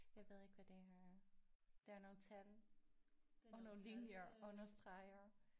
Jeg ved ikke hvad det her er det er nogle tal og nogle linjer og nogle streger